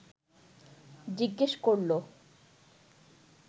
জিজ্ঞেস করল